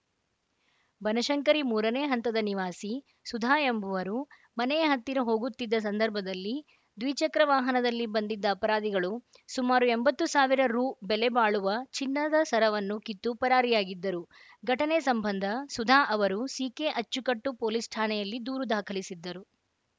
ಬನಶಂಕರಿ ಮೂರನೇ ಹಂತದ ನಿವಾಸಿ ಸುಧಾ ಎಂಬುವರು ಮನೆಯ ಹತ್ತಿರ ಹೋಗುತ್ತಿದ್ದ ಸಂದರ್ಭದಲ್ಲಿ ದ್ವಿಚಕ್ರ ವಾಹನದಲ್ಲಿ ಬಂದಿದ್ದ ಅಪರಾಧಿಗಳು ಸುಮಾರು ಎಂಬತ್ತು ಸಾವಿರ ರು ಬೆಲೆ ಬಾಳುವ ಚಿನ್ನದ ಸರವನ್ನು ಕಿತ್ತು ಪರಾರಿಯಾಗಿದ್ದರು ಘಟನೆ ಸಂಬಂಧ ಸುಧಾ ಅವರು ಸಿಕೆಅಚ್ಚುಕಟ್ಟು ಪೊಲೀಸ್‌ ಠಾಣೆಯಲ್ಲಿ ದೂರು ದಾಖಲಿಸಿದ್ದರು